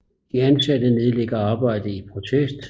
De ansatte nedlægger arbejdet i protest